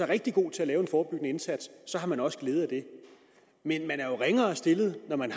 rigtig god til at lave en forebyggende indsats har man også glæde af det men man er jo ringere stillet når man